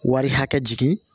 Wari hakɛ jigin